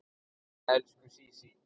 Elsku Sísí.